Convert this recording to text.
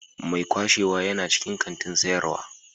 Mai kwashewa yana cikin kantin sayarwa.